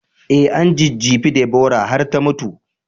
I, an jejjefe Deborah har ta mutu